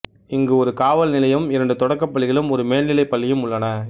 இங்கு ஒரு காவல் நிலையமும் இரண்டு தொடக்கப் பள்ளிகளும் ஒரு மேல்நிலை பள்ளியும் உள்ளன